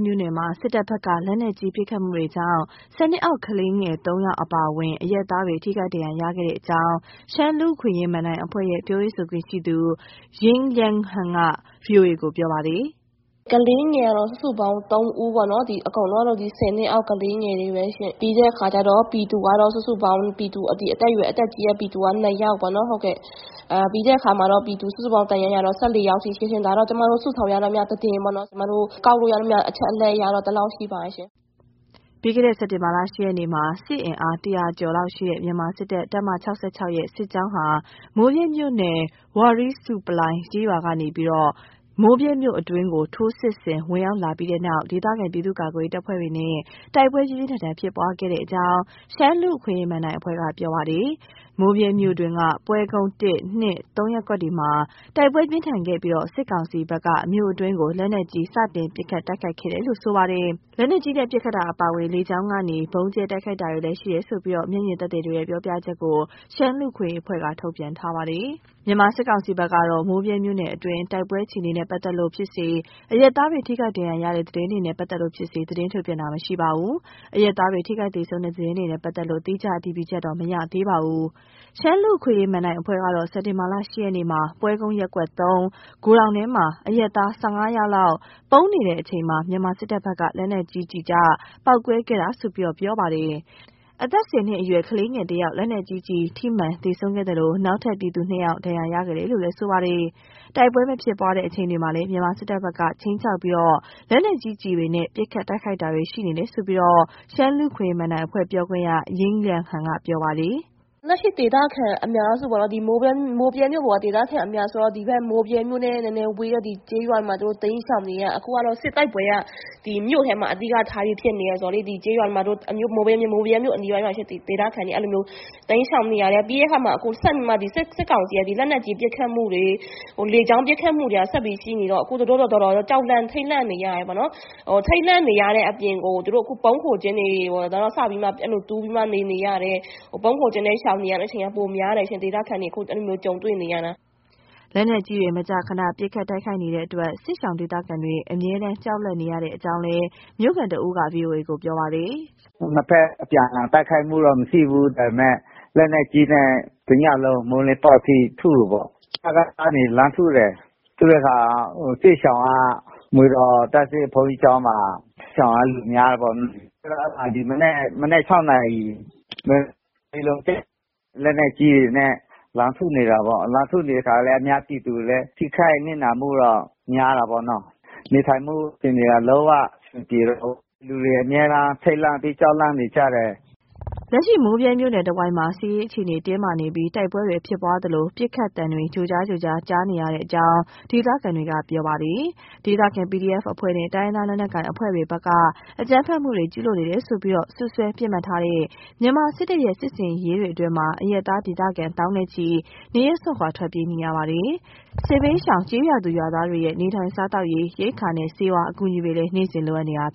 မြို့နယ်မှာ စစ်တပ်ဘက်က လက်နက်ကြီး ပစ်ခတ်မှုတွေကြောင့် ၁၀ နှစ်အောက် ကလေးငယ် ၃ ယောက် အပါအဝင် အရပ်သားတွေ ထိခိုက်ဒဏ်ရာရခဲ့တဲ့ အကြောင်း ရှမ်းလူ့အခွင့်အရေး မဏ္ဍိုင်အဖွဲ့ရဲ့ ပြောရေးဆိုခွင့်ရှိသူ ယိင်းလျန်းဟန်က ဗွီအိုအေကို ပြောတာပါ။ “ကလေးငယ်ကတော့ စုစုပေါင်း ၃ ဦးပေါ့နော်။ ဒီအကုန်လုံးကတော့ ဒီ ၁၀ နှစ်အောက် ကလေးငယ်တွေပဲရှင့်။ ပြီးတဲ့ အခါကျတော့ ပြည်သူကတော့ စုစုပေါင်း အသက်ကြီးတဲ့ ပြည်သူက ၂ယောက်ပေါ့နော် ဟုတ်ကဲ့။ ပြီးတဲ့အခါမှာ ပြည်သူ စုစုပေါင်း ဒဏ်ရာရတော့ ၁၄ ယောက်ထိရှိတယ်။ ဒါတော့ ကျမတို့ စုဆောင်းရသမျှသတင်းပေါ့နော်။ ကျမတို့ ကောက်လို့ရသမျှ အချက်အလက် အရတော့ ဒီလောက်ရှိပါတယ်ရှင့်။” ပြီးခဲ့တဲ့ စက်တင်ဘာလ ၈ ရက်နေ့က စစ်အင်အား ၁၀၀ ကျော်လောက်ရှိတဲ့ မြန်မာစစ်တပ် တပ်မ ၆၆ ရဲ့ စစ်ကြောင်းဟာ မိုးဗြဲမြို့နယ် ဝါရီးဆူးပလိုင် ကျေးရွာကနေ မိုးဗြဲမြို့အတွင်းကို ထိုးစစ် ဝင်ရောက်လာပြီးတဲ့နောက် ဒေသခံပြည်သူ့ကာကွယ်ရေးတပ်ဖွဲ့တွေနဲ့ တိုက်ပွဲ ပြင်းပြင်းထန်ထန် ဖြစ်ပွားခဲ့တယ်လို့ ရှမ်းလူ့အခွင့်အရေး မဏ္ဍိုင်အဖွဲ့က ပြောပါတယ်။ မိုးဗြဲမြို့တွင်းက ပွဲကုန်း ရပ်ကွက်တွေမှာ တိုက်ပွဲပြင်းထန်ခဲ့ပြီး စစ်ကောင်စီဖက်က မြို့အတွင်းကို လက်နက်ကြီး စတင်ပစ်ခတ်တိုက်ခိုက်ခဲ့တယ်လို့ ဆိုပါတယ်။ လက်နက်ကြီးနဲ့ ပစ်ခတ်တာအပြင် လေကြောင်းကနေ ဗုံးကြဲတိုက်ခိုက်တာတွေလည်း ရှိတယ်ဆိုပြီး မျက်မြင်သက်သေတွေရဲ့ ပြောပြချက်ကို ရှမ်း လူ့အခွင့်အရေးအဖွဲ့က ထုတ်ပြန်ထားပါတယ်။ မြန်မာစစ်ကောင်စီဘက်ကတော့ မိုးဗြဲမြို့နယ်အတွင်း တိုက်ပွဲအခြေအနေနဲ့ ပတ်သက်လို့ဖြစ်စေ၊ အရပ်သားတွေ ထိခိုက်ဒဏ်ရာရတဲ့ သတင်းတွေနဲ့ ပတ်သက်လို့ဖြစ်စေ သတင်းထုတ်ပြန်တာ မရှိပါဘူး။ အရပ်သားတွေ ထိခိုက် သေဆုံးတဲ့ သတင်းတွေနဲ့ ပတ်သက်လို့ သီးခြားအတည်ပြုချက်တော့ မရသေးပါဘူး။ ရှမ်းလူ့အခွင့်အရေး မဏ္ဍိုင်အဖွဲ့ကတော့ စက်တင်ဘာလ ၈ ရက်နေ့က ပွဲကုန်းရပ်ကွက် ဂိုဒေါင်ထဲမှာ အရပ်သား ၁၅ ယောက်လောက် ပုန်းနေတဲ့အချိန် မြန်မာစစ်တပ်ဘက်က လက်နက်ကြီးကျ ပေါက်ကွဲခဲ့တာလို့ ပြောပါတယ်။ အသက် ၁၀ နှစ်အရွယ် ကလေးငယ် တဦး လက်နက်ကြီးကျည် ထိမှန်သေဆုံးခဲ့သလို နောက်ထပ် ပြည်သူ ၂ ဦး ဒဏ်ရာရခဲ့တယ်လို့ ပြောပါတယ်။ တိုက်ပွဲမဖြစ်ပွားတဲ့ အချိန်တွေမှာလည်း မြန်မာစစ်တပ်ဘက်က ခြိမ်းခြောက်ပြီး လက်နက်ကြီးကျည်တွေနဲ့ ပစ်ခတ်တိုက်ခိုက်တာတွေ ရှိနေတယ်လို့ ရှမ်းလူ့အခွင့်အရေး မဏ္ဍိုင်အဖွဲ့ ပြောခွင့်ရ ယိင်းလျန်းဟန်က ပြောပါတယ်။ “လက်ရှိ ဒေသခံအများစုပေါ့။ မိုးဗြဲမြို့ပေါ်က ဒေသခံအများက ဒီမိုးဗြဲမြို့နဲ့ နည်းနည်းဝေးတဲ့ ဒီကျေးရွာတွေမှာ သူတို့တိမ်းရှောင်နေရတာ။ အခုကတော့ စစ်တိုက်ပွဲက ဒီမြို့ထဲမှာ အဓိကထားပြီးဖြစ်နေတာဆိုတော့လေ ဒီကျေးရွာတွေမှာ မိုးဗြဲမြို့အနီးတဝိုက်မှာရှိတဲ့ ဒေသခံတွေ အဲ့လိုမျိုး တိမ်းရှောင်နေရတယ်။ ပြီးတဲ့အခါမှာ ဆက်ပြီးမှ ဒီစစ်ကောင်စီက လက်နက်ကြီး ပစ်ခတ်မှုတွေ လေကြောင်းပစ်ခတ်မှုတွေက ဆက်ပြီးရှိနေတော့ အခုသူတို့လည်း တော်တော်လေး ကြောက်လန့် ထိတ်လန့်နေရတယ်ပေါ့နော်။ ထိတ်လန့်နေရတဲ့ အပြင်ကို သူတို့ အခု ဗုံးခိုကျင်းတွေ စပြီးမှ အဲ့လို တူးပြီးမှ နေနေရတယ်။ ဗုံးခိုကျင်းနဲ့ ရှောင်နေရတဲ့ အချိန်က ပိုများတယ်ရှင့်။ ဒေသခံတွေ အခု အဲ့လိုမျိုးကြုံတွေ့နေရတာ။” လက်နက်ကြီးတွေနဲ့ မကြာခဏ ပစ်ခတ်တိုက်ခိုက်နေတဲ့အတွက် စစ်ရှောင်ဒေသခံတွေ အမြဲတမ်းကြောက်လန့် နေရတဲ့အကြောင်းလည်း မြို့ခံတဦးက ဗွီအိုအေက ကို ပြောပါတယ်။ “နှစ်ဖက် အပြန်အလှန်တိုက်ခိုက်မှုတော့ မရှိဘူး။ ဒါပေမယ့် လက်နက်ကြီးနဲ့ တစ်ညလုံး မိုးလင်းပေါက်အထိ ထုတယ်ပေါ့။ စကစ ကနေ လှမ်းထုတယ်။ ထုတဲ့အခါ စစ်ရှောင်က မွေတော်ဘုန်းကြီးကျောင်းမှာ ရှောင်တဲ့လူများတယ်ပေါ့။ ဆိုတော့ အဲ့မှာ ဒီမနက် မနက် ၆နာရီ လက်နက်ကြီး ကျတယ်။ လက်နက်ကြီးတွေနဲ့ လှမ်းထုနေတာပေါ့။ လှမ်းထုနေတဲ့အခါလည်း အများပြည်သူလည်း ထိခိုက်နစ်နာမှုတော့ များတာပေါ့နော်။ နေထိုင်မှုအခြေအနေက လုံးအဆင်မပြေတော့ဘူး။ လူတွေအမြဲတမ်း ထိတ်လန့်ပြီး ကြောက်လန့်နေကြတယ်။” လက်ရှိ မိုးဗြဲမြို့နယ် တဝိုက်မှာ စစ်ရေးအခြေအနေ တင်းမားနေပြီး တိုက်ပွဲတွေ ဖြစ်ပွားသလို ပစ်ခတ်မှုတွေ ကြားနေရကြောင်း ဒေသခံတွေက ပြောပါတယ်။ ဒေသခံ PDF အဖွဲ့တွေ၊ တိုင်းရင်းသား လက်ကိုင်အဖွဲ့တွေဘက်က အကြမ်းဖက်မှုတွေ ကျုးလွန်နေတယ်ဆိုပြီး စွပ်စွဲ ပစ်မှတ်ထားတဲ့ မြန်မာစစ်တပ်ရဲ့ စစ်ဆင်ရေးတွေအတွင်း အရပ်သား ဒေသခံ သောင်းနဲ့ချီ နေရပ်စွန့်ခွာ ထွက်ပြေးနေရပါတယ်။ စစ်ဘေးရှောင် ကျေးရွာသူ ကျေးရွာသားတွေရဲ့ နေထိုင်စားသောက်ရေး ရိက္ခာနဲ့ ဆေးဝါး အကူအညီတွေလည်း နေ့စဉ် လိုအပ်နေပါတယ်။